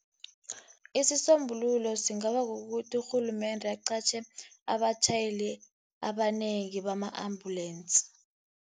Isisombululo singaba kukuthi urhulumende aqatjhe abatjhayeli abanengi bama-ambulensi.